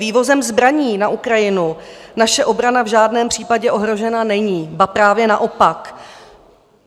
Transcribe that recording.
Vývozem zbraní na Ukrajinu naše obrana v žádném případě ohrožena není, ba právě naopak.